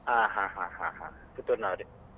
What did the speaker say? ಹ ಹ ಹ ಹ ಹ Puttur ನವರೇ.